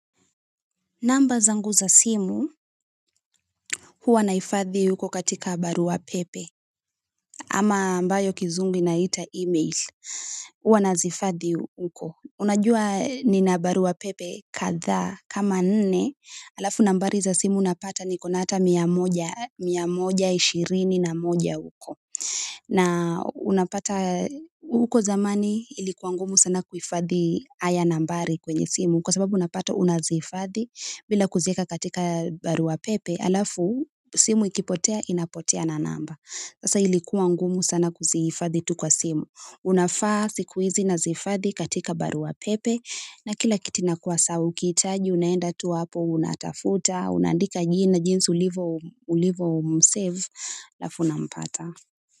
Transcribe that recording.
Namba zangu za simu huwa nahifadhi huko katika barua pepe ama ambayo kizungu inaita e-mail huwa nazihifadhi huko unajua ni na barua pepe kahaa kama nne halafu nambari za simu napata niko na ata mia moja mia moja ishirini na moja huko na unapata huko zamani ilikuwa ngumu sana kuhifadhi haya nambari kwenye simu kwa sababu unapata unazifadhi bila kuzieka katika barua pepe alafu simu ikipotea inapotea na namba sasa ilikuwa ngumu sana kuzihifadhi tu kwa simu unafaa siku hizi nazihifadhi katika barua pepe na kila kitu inakuwa sawa ukihitaji unaenda tu hapo unatafuta unaandika jina jinsi ulivyo m save halafu unampata.